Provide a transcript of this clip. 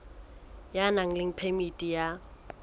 ya nang le phemiti ya